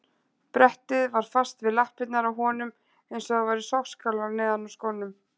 Brettið var fast við lappirnar á honum eins og það væru sogskálar neðan í skónum.